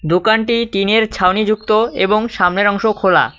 দোকানটি টিনের ছাউনিযুক্ত এবং সামনের অংশ খোলা।